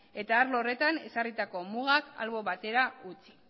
eta arlo horretan ezarritako mugak albo batera utzi